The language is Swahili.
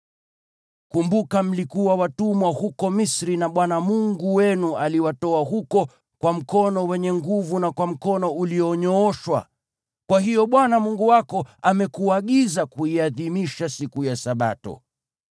Kumbuka mlikuwa watumwa huko Misri, na Bwana Mungu wenu aliwatoa huko kwa mkono wenye nguvu na kwa mkono ulionyooshwa. Kwa hiyo Bwana Mungu wako amekuagiza kuiadhimisha siku ya Sabato.